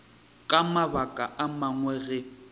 ka mabaka a mangwe ge